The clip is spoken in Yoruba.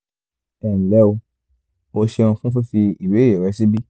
ẹ nlẹ́ o o ṣeun fún fífi ìbéèrè rẹ síbí